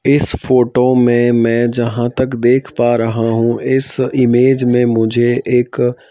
इस फोटो में मैं जहाँ तक देख पा रहा हूँ इस इमेज में मुझे एक--